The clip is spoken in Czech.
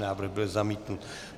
Návrh byl zamítnut.